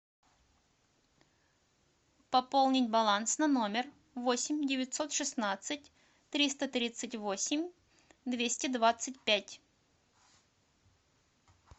пополнить баланс на номер восемь девятьсот шестнадцать триста тридцать восемь двести двадцать пять